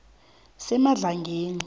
semadlangeni